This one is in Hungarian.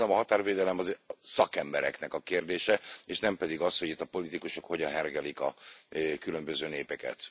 Én úgy gondolom, a határvédelem az szakembereknek a kérdése és nem pedig az, hogy itt a politikusok hogyan hergelik a különböző népeket.